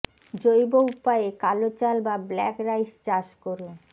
জৈব উপায়ে কালো চাল বা ব্ল্যাক রাইস চাষ করুন